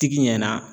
Tigi ɲɛna